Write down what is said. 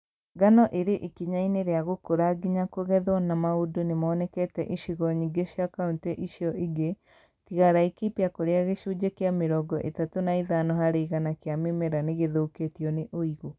Ngano ĩrĩ ikinya inĩ rĩa gũkũra nginya kũgethwo na maũndũ nĩmonekete icigo nyingĩ cia kauntĩ icio ingĩ tiga Laikipia kũrĩa gĩcunjĩ kĩa mĩrongo ĩtatũ na ithano harĩ igana kĩa mĩmera nĩgĩthũkĩtio nĩ ũigũ